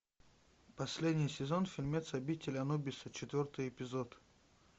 последний сезон фильмец обитель анубиса четвертый эпизод